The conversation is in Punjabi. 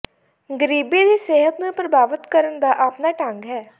ਗ਼ਰੀਬੀ ਦੀ ਸਿਹਤ ਨੂੰ ਪ੍ਰਭਾਵਤ ਕਰਨ ਦਾ ਆਪਣਾ ਢੰਗ ਹੈ